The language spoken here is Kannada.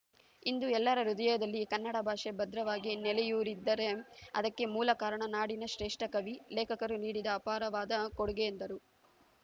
ಇಂದು ಎಲ್ಲರ ಹೃದಯದಲ್ಲಿ ಕನ್ನಡ ಭಾಷೆ ಭದ್ರವಾಗಿ ನೆಲೆಯೂರಿದ್ದರೆ ಅದಕ್ಕೆ ಮೂಲ ಕಾರಣ ನಾಡಿನ ಶ್ರೇಷ್ಠ ಕವಿ ಲೇಖರು ನೀಡಿದ ಅಪಾರವಾದ ಕೊಡುಗೆ ಎಂದರು